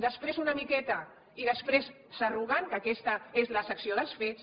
després una miqueta i després s’arruguen que aquesta és la secció dels fets